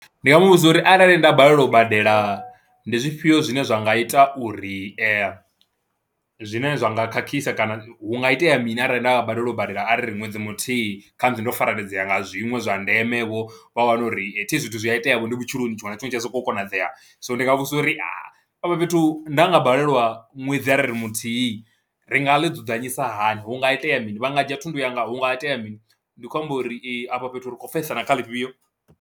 Ndi nga mu vhudza uri arali nda balelwa u badela ndi zwifhio zwine zwa nga ita uri zwine zwa nga khakhisa kana hu nga itea mini arali nda nga balelwa u badela a ri ri ṅwedzi muthihi ndo fareledzea nga zwiṅwe zwa ndemevho wa wana uri thi zwithu zwi a iteavho ndi vhutshiloni, tshiṅwe na tshiṅwe tshi a sokou konadzea, so ndi nga vhudzisa uri afha fhethu nda nga balelwa ṅwedzi a ri ri muthihi ri nga ḽi dzudzanyisa hani, hu nga itea mini, vha nga dzhia thundu yanga, hu nga itea mini ndi khou amba uri afha fhethu ri khou pfesesana kha ḽifhio.